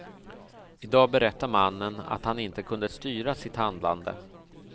I dag berättar mannen att han inte kunde styra sitt handlande.